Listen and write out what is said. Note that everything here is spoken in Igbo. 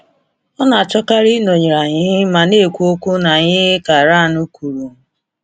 “Ọ na-achọkarị ịnọnyere anyị ma na-ekwu okwu na anyị,” ka Ryan kwuru.